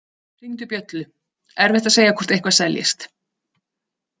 Hringdu bjöllu, erfitt að segja hvort eitthvað seljist.